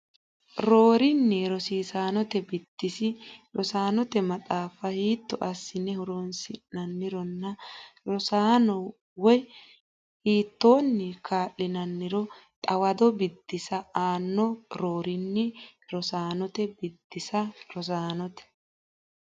Roorinni rosiisaanote biddissi rosaanote maxaafa hiitto assine horonsi nannironna rossanno woyte hiittoonni kaa linanniro xawado biddissa aanno Roorinni rosiisaanote biddissi rosaanote.